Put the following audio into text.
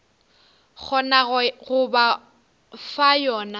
kgonago go ba fa yona